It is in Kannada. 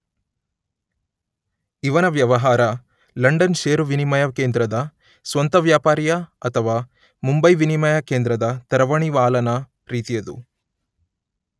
ಇವನ ವ್ಯವಹಾರ ಲಂಡನ್ ಷೇರು ವಿನಿಮಯ ಕೇಂದ್ರದ ಸ್ವಂತವ್ಯಾಪಾರಿಯ ಅಥವಾ ಮುಂಬೈ ವಿನಿಮಯ ಕೇಂದ್ರದ ತರವಣಿವಾಲನ ರೀತಿಯದು.